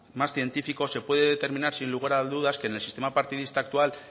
más científico se puede determinar sin lugar a dudas que en el sistema partidista actual